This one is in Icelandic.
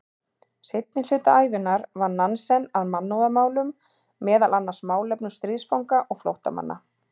Seinni hluta ævinnar vann Nansen að mannúðarmálum, meðal annars málefnum stríðsfanga og flóttamanna.